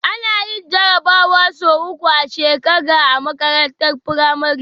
Ana yin jarabawa sau uku a shekaga a makarantar pramari